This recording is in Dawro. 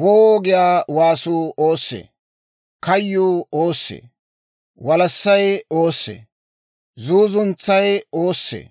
«Woo!» giyaa waasuu oossee? Kayyuu oossee? Walassay oossee? Zuuzuntsay oossee?